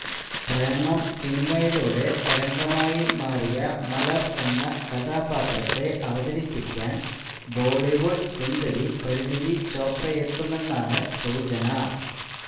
പ്രേമം സിനിമയിലൂടെ തരംഗമായി മാറിയ മലർ എന്ന കഥാപാത്രത്തെ അവതരിപ്പിക്കാൻ ബോളിവുഡ് സുന്ദരി പരിനീതി ചോപ്രയെത്തുമെന്നാണ് സൂചന